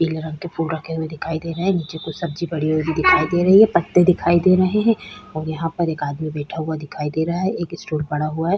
पीले रंग के फूल रखे हुए दिखाई दे रहे है नीचे कुछ सब्जी पड़ी हुई दिखाई दे रही है पत्ते दिखाई दे रहे है और यहाँ पर एक आदमी बैठा हुआ दिखाई दे रहा है एक स्टूल पड़ा हुआ है ।